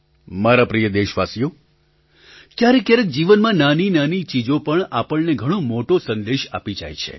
મારા પ્રિય દેશવાસીઓ ક્યારેકક્યારેક જીવનમાં નાનીનાની ચીજો પણ આપણને ઘણો મોટો સંદેશ આપી જાય છે